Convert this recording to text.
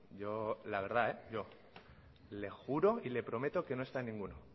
yo la verdad yo le juro y le prometo que no he estado en ninguno